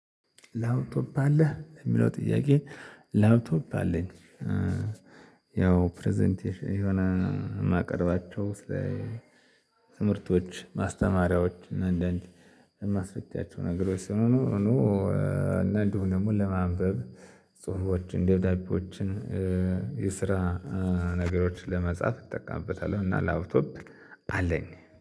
ላፕቶፕ አለ ለሚለው ጥያቄ ላፕቶፕ አለኝ። ያው ፕረዘንቴሽን የሆነ የማቀርባቸው ስለ ትምህርቶች ማስተማሪያዎች አንዳንድ ማስፈቻቸው ነገሮች ሲሆኑ። እና እንዲው ደግሞ ለማንበብ ጽሁፎችን ደብዳቤዎችን የስራ ነገሮችን ለመጻፍ እጠቀምበታለሁ። እና ላፕቶፕ አለኝ